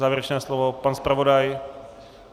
Závěrečné slovo pan zpravodaj?